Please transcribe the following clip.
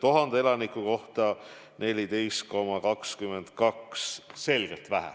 1000 elaniku kohta keskmiselt 14,22 – selgelt vähe.